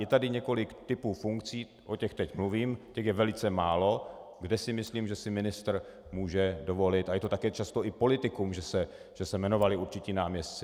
Je tady několik typů funkcí, o těch teď mluvím, těch je velice málo, kde si myslím, že si ministr může dovolit, a je to také často i politikum, že se jmenovali určití náměstci.